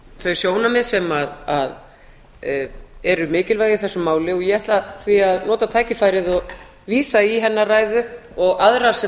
þau sjónarmið sem eru mikilvæg í þessu máli og ég ætla því að nota tækifærið og vísa í hennar ræðu og aðrar sem